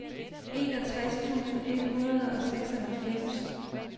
enogtres tusind et hundrede og seksoghalvfems